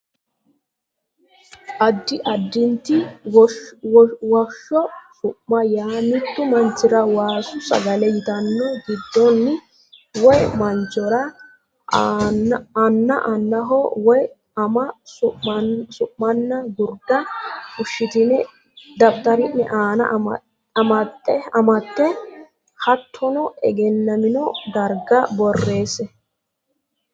Addi additi Woshsho su ma yaa mittu manchira Waasu Sagale yitanno giddonni woy manchora anna annaho woy ama su manna gurda fushshitine daftari ne aana amate hattono egennamino dargira borreesse.